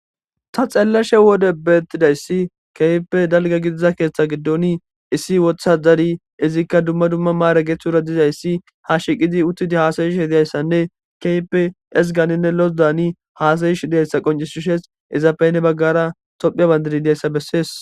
Ta xellashe wode beettidayssi keype dalga gidiza keeththa giddoni issi wotha dari izikka dumma dumma maara geethura dizayssi ha shiqidi uttidi haasayish hidiyayssanne keype esganinne los daani haasayish diyayssa qoncisushes izafeyne baggara tophia bandidi dayssa bessees